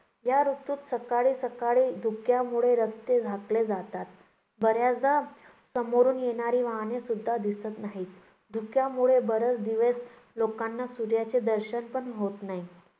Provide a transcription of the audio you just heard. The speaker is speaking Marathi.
या ऋतूत सकाळी सकाळी धुक्यामुळे रस्ते झाकले जातात. बऱ्याचदा समोरून येणारी वाहनेसुद्धा दिसत नाहीत. धूक्यामुळे बरेच दिवस लोकांना सूर्याचे दर्शनपण होत नाही.